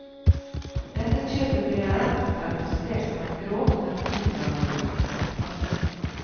Dette kjøpet blir av retten karakterisert som eit grovt narkotikalovbrot. punktum